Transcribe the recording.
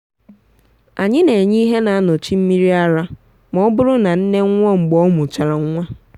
anyi na enye ihe na anọchị miri ara ma ọ bụrụ na nne nwụọ mgbe ọ mụchara nwa.